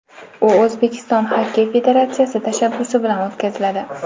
U O‘zbekiston Xokkey federatsiyasi tashabbusi bilan o‘tkaziladi.